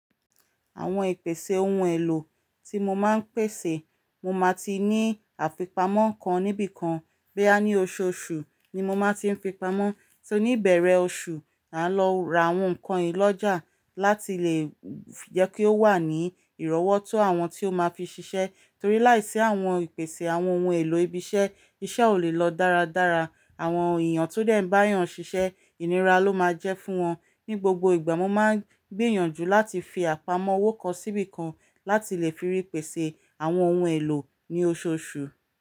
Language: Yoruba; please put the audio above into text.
Àwọn ìpèsè ohun èlò tí mo máa ń pèsè, mo máa ti ní àfipamọ́ kan níbí kan. Boya ní oṣooṣù ni mo máa ti ń fipamọ́, so ní ìbeẹ̀rẹ̀ oṣù, maà lọ ra àwọn nǹkan yiì lọ́jà láti lè jẹ́ kí ó wà ní ìrọ́wọ́ tó àwọn tí ó máa fi ṣiṣẹ́. Torí láìsí àwọn ìpèsè àwọn ohun èlò ibi iṣẹ́, iṣẹ́ ò lè lọ dáradára. Àwọn èèyàn tó dẹ̀ ń bá'yàn ṣiṣẹ́, ìnira ló máa jẹ́ fún wọn. Ni gbogbo ìgbà, mo máa ń gbìyànjú láti fi àpamọ́ owó kan síbí kan láti lè fi rí pèsè àwọn ohun èlò ní oṣooṣù.